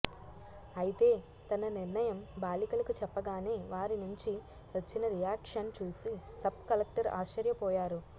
అయితే తన నిర్ణయం బాలికలకు చెప్పగానే వారి నుంచి వచ్చిన రియాక్షన్ చూసి సబ్ కలెక్టర్ ఆశ్చర్యపోయారు